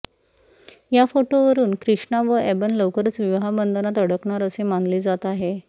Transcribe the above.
या फोटोवरून कृष्णा व एबन लवकरच विवाहबंधनात अडकणार असे मानले जात आहे